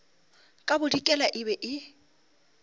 ka bodikela e be e